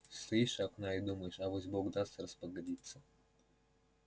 стоишь у окна и думаешь авось бог даст распогодится